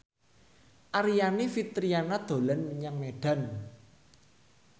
Aryani Fitriana dolan menyang Medan